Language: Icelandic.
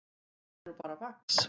Það er nú bara vax.